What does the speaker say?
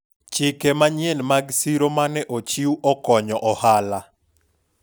chike manyien mag siro mane ochiw okonyo ohala